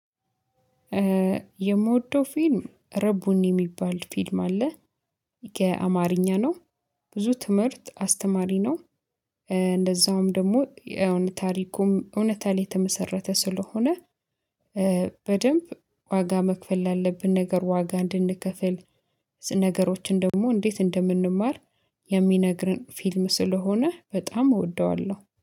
የምወደው ፊልም ረቡኒ የሚባል ፊልም አለ የአማርኛ ነው ብዙ ትምህርት አስተማሪ ነው እንደዛውም ደግሞ የእውነት ታሪኩም እውነት ላይ የተመሰረተ ስለሆነ በደንብ ዋጋ መክፈል ላለብን ነገር ዋጋ እንድንከፍል ነገሮችን ደግሞ እንዴት እንደምንማር የሚነግረን ፊልም ስለሆነ በጣም እወደዋለሁ።